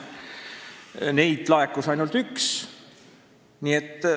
Neid ettepanekuid laekus ainult üks.